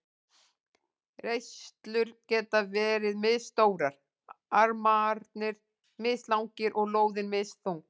Reislur geta verið misstórar, armarnir mislangir og lóðin misþung.